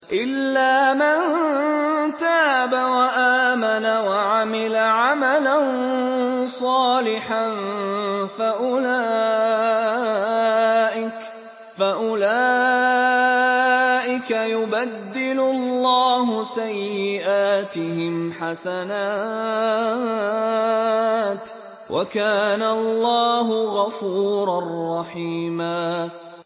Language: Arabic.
إِلَّا مَن تَابَ وَآمَنَ وَعَمِلَ عَمَلًا صَالِحًا فَأُولَٰئِكَ يُبَدِّلُ اللَّهُ سَيِّئَاتِهِمْ حَسَنَاتٍ ۗ وَكَانَ اللَّهُ غَفُورًا رَّحِيمًا